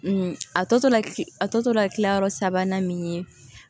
a tɔ tora ki a tɔ tora kilayɔrɔ sabanan min ye